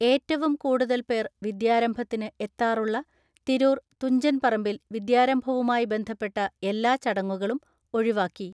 ഏറ്റവും കൂടുതൽ പേർ വിദ്യാരംഭത്തിന് എത്താറുളള തിരൂർ തുഞ്ചൻ പറമ്പിൽ വിദ്യാരംഭവുമായി ബന്ധപ്പെട്ട എല്ലാ ചടങ്ങുകളും ഒഴിവാക്കി.